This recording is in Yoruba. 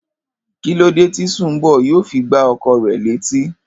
Kílódé tí Sùnḿbò̩ yóò fi gbá o̩kò̩ rè̩ létí?